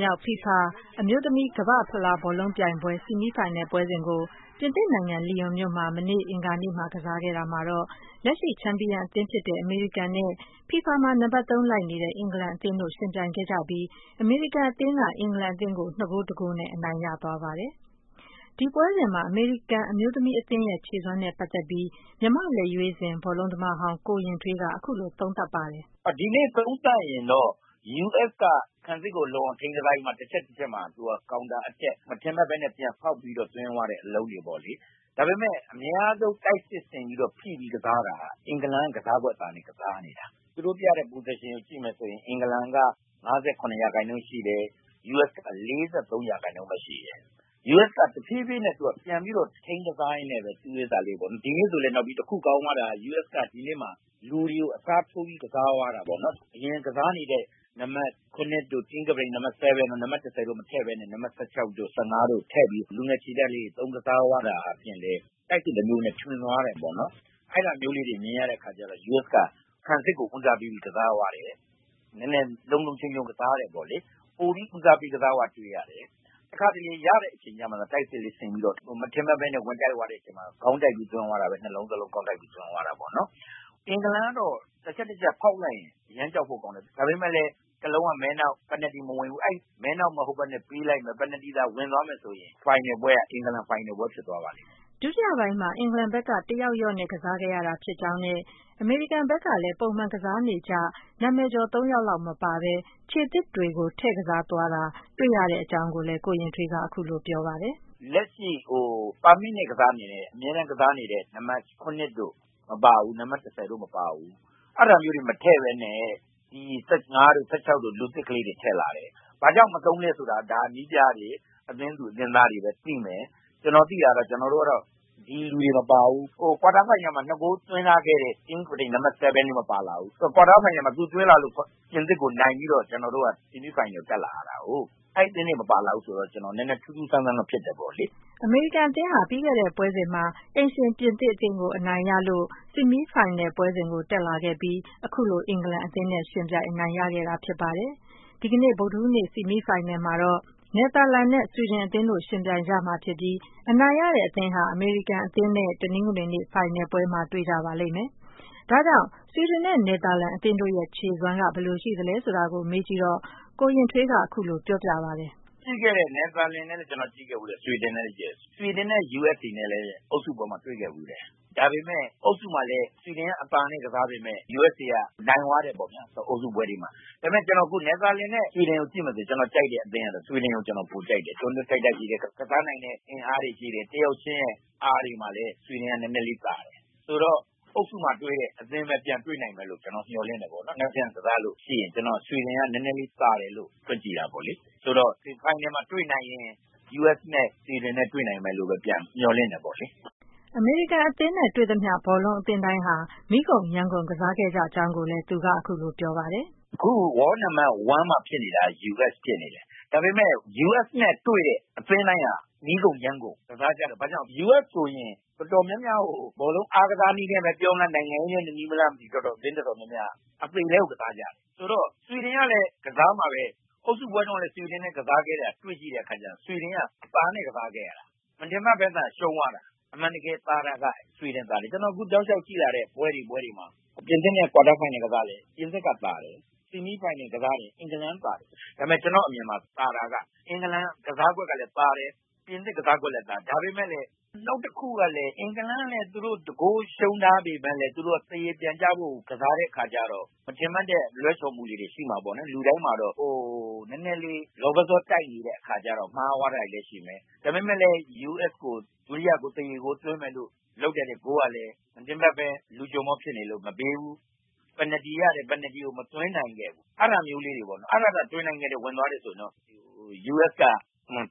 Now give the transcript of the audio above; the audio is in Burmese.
မြောက် FIFA အမျိုးသမီး ကမ္ဘာ့ဖလားဘောလုံးပြိုင်ပွဲ ဆီမီးဖိုင်နယ်ပွဲစဉ်ကို ပြင်သစ်နိုင်ငံ၊ လိုင်ယွန်မြို့မှာ မနေ့က အင်္ဂါနေ့မှာ ကစားခဲ့တာမှာ လက်ရှိချန်ပီယံအသင်းဖြစ်တဲ့ အမေရိကန်နဲ့ ဖီဖာမှာ နံပါတ် (၃) လိုက်နေတဲ့ အင်္ဂလန်အသင်းတို့ ယှဉ်ပြိုင်ခဲ့ကြပြီး အမေရိကန်အသင်းက အင်္ဂလန်အသင်းကို ၂ ဂိုး၊ ၁ ဂိုးနဲ့ အနိုင်ရသွားပါတယ်။ ဒီပွဲစဉ်မှာ အမေရိကန်အမျိုးသမီးအသင်းရဲ့ ခြေစွမ်းနဲ့ ပတ်သက်ပြီး မြန်မာ့လက်ရွေးစင် ဘောလုံးသမားဟောင်း ကိုယဉ်ထွေးက အခုလို သုံးသပ်ပါတယ်။ "ဒီနေ့သုံးသပ်ရင်တော့ US က ခံစစ်ကို လုံအောင်ထိန်းကစားပြီးမှ တချက်တချက်မှာ သူက counter attack မထင်မှတ်ဘဲနဲ့ ပြန်ဖောက်ပြီး တော့ သွင်းသွားတဲ့ အလုံးတွေပေါ့လေ။ ဒါပေမဲ့ အများဆုံး တိုက်စစ်ဆင်ပြီးတော့ ဖိပြီးကစားတာ အင်္ဂလန်က ကစားကွက် သာနေတာ။ သူတို့ပြတဲ့ position ကို ကြည့်မယ်ဆိုရင် အင်္ဂလန်က ၅၇ ရာခိုင်နှုန်း ရှိတယ်။ US က ၄၃ ရာခိုင်နှုန်း ပဲ ရှိတယ်။ US က တဖြည်းဖြည်းနဲ့ ပြန်ပြီးတော့ ထိန်း ကစားရင်းနဲ့ပဲ ဒီနေ့ဆိုလည်း တခု ကောင်းသွားတာက ဒီနေ့မှာ လူတွေကို အစားထိုးပြီးကစားသွားတာပေါ့နော်။ အရင်ကစားနေတဲ့ နံပါတ် ၇ တို့၊ နံပါတ် ၁၀ တို့ မထည့်ဘဲနဲ့ ၁၆ တို့ ၁၅ တို့ထည့်ပြီး ကစားသွားတာဖြင့်လည်း လူငယ်ခြေတက်လေးတွေ ထွင်သုံးကစားသွားတာဖြင့်လည်း တိုက်စစ်တမျိုးအနေနဲ့ ထွင်သွားတယ်ပေါ့နော်။ အဲ့ဒါမျိုးလေးတွေ မြင်ရတဲ့အခါကျတော့ US က ခံစစ်ကို ဦးစားပေးပြီး ကစားသွားတယ်။ နည်းနည်းလုံလုံခြုံခြုံ ကစားတယ်ပေါ့လေ။ ပိုပြီး ဦးစားပေး ကစားသွားတာ တွေ့ရတယ်။ တခါတလေ ရတဲ့ အချိန်မှသာ တိုက်စစ်လေးဆင်၊ မထင်မှတ်ပဲနဲ့ ဝင်တိုက်သွားတဲ့ အချိန်မှာ ခေါင်းတိုက်ပြီးသွင်းသွားတာ ၂ လုံး စလုံး ခေါင်းတိုက်ပြီးသွင်းတာပေါ့နော်။ အင်္ဂလန်ကတော့ တချက်တချက် ခေါက်လိုက်ရင် အရမ်းကြောက်ဖို့ကောင်းတယ်။ ဒါပေမဲ့လည်း တလုံးက မဲနှောက်အဲ့အဲနှောက်မဟုတ်ဘဲနဲ့ ပေးလိုက်မယ်။ ပယ်နယ်တီဝင်သွားမယ်ဆိုရင် ဖိုင်နယ်ပွဲက အင်္ဂလန်ဖိုင်နယ်ပွဲဖြစ်သွားပါလိမ့်မယ်။" ဒုတိယပိုင်းမှာ အင်္ဂလန်ဘက်က တယောက်လျော့နဲ့ ကစားခဲ့ရတာဖြစ်ကြောင်းနဲ့ အမေရိကန်ဘက်က ပုံမှန် ကစားနေကျ နာမည်ကျော် ၃ ယောက်လောက်မပါဘဲ ခြေသစ်တွေကို ထည့်ကစားသွားတာ တွေ့ရကြောင်းကိုလည်း ကိုယဉ်ထွေးက ပြောပါတယ်။ “လက်ရှိ အမြဲတမ်းကစားနေတဲ့ နံပါတ် ၇ တို့၊ နံပါတ် ၁၀ တို့မပါဘူး။ အဲဒါမျိုးတွေ မထည့်ဘဲနဲ့ ၁၅ တို့၊ ၁၆ တို့ လူသစ်ကလေးတွေ ထည့်လိုက်လာတယ်။ ဘာကြောင့် မသုံးလဲဆိုတာကတော့ ဒါက နည်းပြတွေ၊ အသင်းသူ၊ အသင်းသားတွေပဲ သိမယ်။ ကျနော်သိတာကတော့ ကျနော်တို့ကတော့ ဒီလူတွေ မပါဘူး။ ကွာတားဖိုင်နယ်မှာ ၂ ဂိုးသွင်းထားခဲ့တဲ့ အသင်းကပ္ပတိန် နံပါတ် ဆဲဗင်းလည်းမပါဘူး။ ကွာတားဖိုင်နယ်မှာ သူသွင်းလာလို့ ပြင်သစ်ကိုနိုင်ပြီးတော့ ဆီမီးဖိုင်နယ်ကို တက်လာရတာကိုး။ အဲဒီအသင်းဝင်တွေ မပါလာဘူးဆိုတော့ ထူးထူးဆန်းဆန်းတော့ ဖြစ်တယ်ပေါ့လေ။” အမေရိကန်အသင်းဟာ ပြီးခဲ့တဲ့ ပွဲစဉ်မှာ အိမ်ရှင် ပြင်သစ်အသင်းကို အနိုင်ရခဲ့ပြီး ဆီမီဖိုင်နယ်ပွဲစဉ်ကို တက်လာခဲ့ပြီး အခုလို အင်္ဂလန် အသင်းနဲ့ ယှဉ်ပြိုင်ခဲ့တာဖြစ်ပါတယ်။ ဒီနေ့ ဗုဒ္ဓဟူးနေ့ ဆီမီးဖိုင်မှာ နယ်သာလန် နဲ့ ဆွီဒင်အသင်းတို့ ယှဉ်ပြိုင်ကြမှာဖြစ်ပြီး အနိုင်ရတဲ့အသင့် ဟာ အမေရိကန်အသင်းတို့ တနင်္ဂနွေနေ့မှာ ဖိုင်နယ်မှာ တွေ့ကြပါလိမ့်မယ်။ ဒါကြောင့် ဆွီဒင်နဲ့ နယ်သာလန်အသင်းတို့ရဲ့ ခြေစွမ်းက ဘယ်လိုရှိပါသလဲ ဆိုတာ ကိုယဉ်ထွေးက အခုလို ပြောပြပါတယ်။ “နယ်သာလန်နဲ့လည်း ကြည့်ခဲ့ဖူးတယ်။ ဆွီဒင်နဲ့ကစားတာကိုလည်း ကျနော် ကြည့်ခဲ့တယ်။ ဆွီဒင်နဲ့ USA နဲ့လည်း အုပ်စုပွဲမှာ တွေ့ခဲ့ဖူးတယ်။ ဒါပေမယ့် အုပ်စုမှာလည်း ဆွီဒင်က အသာနဲ့ကစားပေမယ့် USA က နိုင်သွားတယ်ပေါ့။ ဒါပေမယ့် အခု နယ်သာလန်နဲ့ ဆွီဒင်ကိုကြည့်မယ်ဆိုရင် ကျနော်ကြိုက်တဲ့အသင်းက ဆွီဒင်ကို ကျနော် ပိုကြိုက်တယ်။ တွန်းတွန်းတိုက်တိုက်လည်း ကစားနိုင်တဲ့ အင်အားတွေ ရှိတယ်။ နောက် တယောက်ချင်းရဲ့အားတွေမှာလည်း ဆွီဒင်က နည်းနည်းလေးသာတယ်။ ဆိုတော့- အုပ်စုမှာတွေ့တဲ့ အသင်းပဲပြန်တွေ့နိုင်တယ်လို့ ကျနော် မျှော်လင့်တယ်ပေါ့ဗျာ။ မနက်ဖြန်ကစားလို့ရှိရင် ဆွီဒင်က နည်းနည်းလေး သာတယ်လို့ တွက်ကြည့်တာပေါ့လေ။ --ဆိုတော့ ဖိုင်နယ်မှာ တွေ့နိုင်ရင် US နဲ့ ဆွီဒင်နဲ့ပြန်တွေ့မယ်လို့လည်း မျှော်လင့်တယ်ပေါ့လေ။” အမေရိကန်အသင်းနဲ့ တွေ့သမျှ ဘောလုံးအသင်းတိုင်းဟာ မီးကုန်ယမ်းကုန် ကစားခဲ့ကြကြောင်းကိုလည်း သူက အခုလို ပြောပါတယ်။ “အခု World Number 1 မှာ ဖြစ်နေတာက US ဖြစ်နေတယ်။ US နဲ့တွေ့တဲ့အသင်းတိုင်းက မီးကုန် ယမ်းကုန် ကစားကြတယ်။ ဘာကြောင့်လဲဆိုတော့ US ဆိုရင် အတော်များများကို ဘောလုံးအားကစားနည်းနဲ့ပဲဖြစ်ဖြစ်၊ နိုင်ငံရေးနည်းနဲ့ပြောမလား၊ အသင်းအတော်များများက အသေအလဲကို ကစားကြတာ။ ဆိုတော့ ဆွီဒင်ကလည်း ကစားမှာပဲ။ အုပ်စုပွဲတုန်းကလည်း ဆွီဒင်နဲ့ကစားခဲ့တာ အတွေ့ရှိတဲ့အခါကျတော့ ဆွီဒင်က အသာနဲ့ကစားခဲ့ရတာ။ မထင်မှတ်ဘဲသာ ရှုံးသွားတာ။ အမှန်တကယ်သာတာက ဆွီဒင်သာတယ်။ အခု ကျနော် တောက်လျှောက်ကြည့်လာတဲ့ ပွဲတွေ ပွဲတွေမှာ ပြင်သစ်နဲ့ ကွာတားဖိုင်နယ်ကစားလည်း ပြင်သစ်က သာတယ်။ ဆီမီးဖိုင်နယ်ကစားတယ်၊ အင်္ဂလန်က သာတယ်။ ဒါပေမယ့် ကျနော့်အမြင်မှာသာတာက အင်္ဂလန်ကစားကွက်ကလည်းသာတယ်။ ပြင်သစ်ကစားကွက်ကလည်းသာတယ်။ နောက်တခုကလည်း အင်္ဂလန်ကလည်း တဂိုးရှုံးထားပေမယ့်လည်း သူတို့ သရေပြန်ကျဖို့ ကစားတဲ့အခါကျတော့ မထင်မှတ်တဲ့လွဲချော်မှုလေးတွေ ရှိမှာပေါ့နော်။ လူတိုင်းမှာတော့ နည်းနည်းလေး လောဘဇောတိုက်နေတဲ့အခါကျတော့ မှားသွားတာတွေလည်းရှိမယ်။ ဒါပေမယ့်လည်း US ကို ဒုတိယဂိုး၊ သရေဂိုးသွင်းမယ်လို့ လုပ်တဲ့ဂိုးကလည်း မထင်မှတ်ဘဲ လူကျွံဘောဖြစ်နေလို့ မပေးဘူး၊ ပယ်နယ်တီရတယ်၊ ပယ်နယ်တီကလည်း မသွင်းနိုင်ခဲ့ဘူး။ အဲဒါသာ သွင်းနိုင်တယ်၊ ဝင်သွားတယ်ဆိုရင်တော့ US က